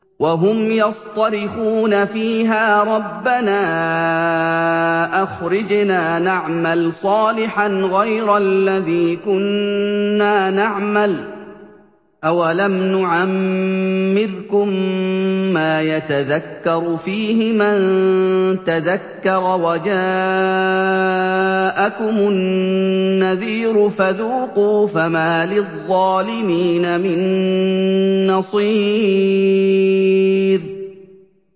وَهُمْ يَصْطَرِخُونَ فِيهَا رَبَّنَا أَخْرِجْنَا نَعْمَلْ صَالِحًا غَيْرَ الَّذِي كُنَّا نَعْمَلُ ۚ أَوَلَمْ نُعَمِّرْكُم مَّا يَتَذَكَّرُ فِيهِ مَن تَذَكَّرَ وَجَاءَكُمُ النَّذِيرُ ۖ فَذُوقُوا فَمَا لِلظَّالِمِينَ مِن نَّصِيرٍ